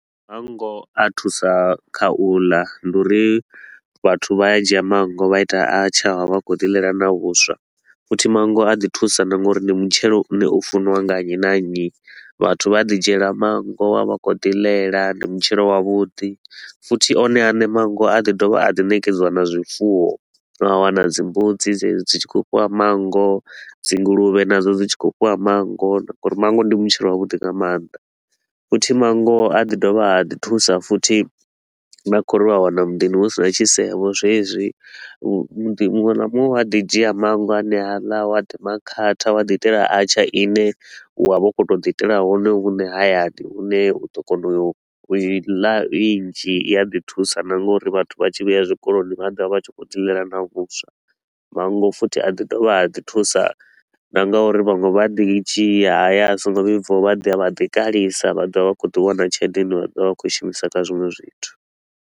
Mannngo a thusa kha u ḽa, ndi uri vhathu vha a dzhia manngo vha ita archaar, vha vha vha khou ḓi ḽela na vhuswa. Futhi manngo a ḓi thusa na nga uri ndi mutshelo u ne u funiwa nga nnyi na nnyi, vhathu vha a ḓi dzhiela manngo vha vha vha khou ḓi ḽela, ndi mutshelo wavhuḓi. Futhi one a ne manngo a ḓi dovha a ḓi nekedziwa na zwifuwo, wa wana dzimbudzi dzedzi dzi tshi khou fhiwa manngo, dzi nguluvhe nadzo dzi tshi khou fhiwa manngo, ngauri manngo ndi mutshelo wa vhuḓi nga mannḓa. Futhi manngo a ḓi dovha a ḓi thusa futhi na kho uri u a wana muḓini hu si na tshisevho zwezwi, muḓi munwe na munwe u a ḓi dzhia manngo aneaḽa wa ḓi makhatha wa ḓi itela archaar i ne u a vha u khou to u ḓi itela hone hune hayani, hune u ḓo kona u i ḽa i nnzhi i a ḓi thusa na ngauri vhathu vha tshi vhuya zwikoloni vha ḓovha vha tshi khou dzi ḽela na vhuswa. Manngo futhi a ḓi dovha a ḓi thusa na nga uri vhaṅwe vha ḓi dzhia haya a so ngo vhibvaho vha ḓi a vha ḓi kalisa vha ḓo vha vha khou ḓi wana tshelede i ne vha ḓo vha vha khou shumisa kha zwiṅwe zwithu.